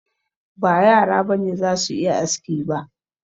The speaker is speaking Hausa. Ba yara ba ne za su yi aski ba